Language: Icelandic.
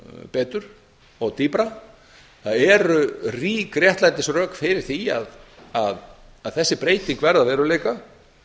betur og dýpra það eru rík réttlætisrök fyrir því að þessi breyting verði að veruleika